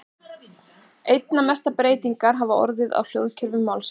Einna mestar breytingar hafa orðið á hljóðkerfi málsins.